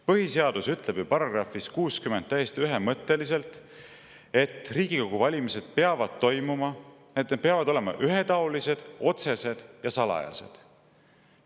Põhiseadus ütleb ju §-s 60 täiesti ühemõtteliselt, et Riigikogu valimised peavad olema ühetaolised, otsesed ja salajased.